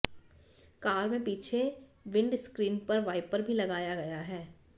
car में पीछे windscreen पर वाइपर भी लगाया गया है